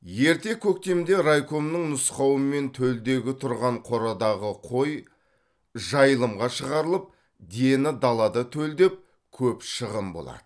ерте көктемде райкомның нұсқауымен төлдегі тұрған қорадағы қой жайылымға шығарылып дені далада төлдеп көп шығын болады